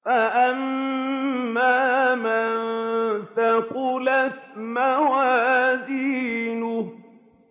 فَأَمَّا مَن ثَقُلَتْ مَوَازِينُهُ